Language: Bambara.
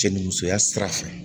Cɛ ni musoya sira fɛ